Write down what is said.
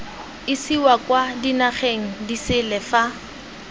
isiwa kwa dinageng disele fa